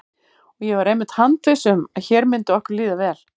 Og ég var einmitt handviss um að hér myndi okkur líða vel.